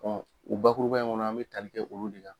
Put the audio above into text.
u bakuruba in kɔnɔ an bɛ tali kɛ olu de la.